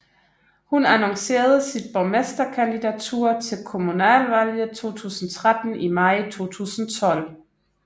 Hun annoncerede sit borgmesterkandidatur til Kommunalvalget 2013 i maj 2012